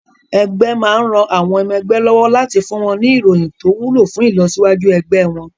Ẹgbé máa ran àwọn ọmọ ẹgbẹ́ lọ́wọ́ láti fún wọn ní ìròyìn tó wúlò fún ìlọsíwájú ẹgbẹ́ wọn.